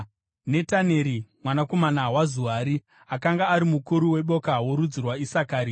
Netaneri mwanakomana waZuari akanga ari mukuru weboka rorudzi rwaIsakari.